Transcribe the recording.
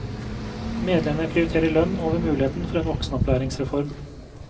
Medlemmene prioriterer lønn over muligheten for en voksenopplæringsreform.